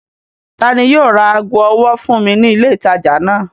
Ta ni yóò ra ago ọwọ́ fún mi ní ilé-ìtajà náà?